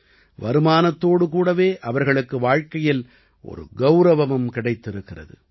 வருமானத்தோடு கூடவே அவர்களுக்கு வாழ்க்கையில் ஒரு கௌரவமும் கிடைத்திருக்கிறது